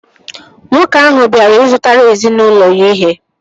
Nwoke ahụ bịara ị zụtara ezinaụlọ ya ihe